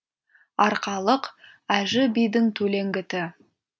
арқалық әжі бидің төлеңгіті